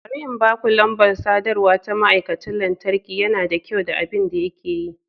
Bari in baku lambar sadarwa ta ma'aikacin lantarki, yana da kyau da abin da yake yi.